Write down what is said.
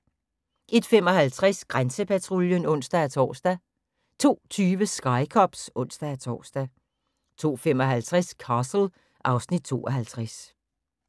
01:55: Grænsepatruljen (ons-tor) 02:20: Sky Cops (ons-tor) 02:55: Castle (Afs. 52)